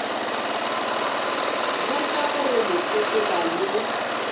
botša gore le sepela le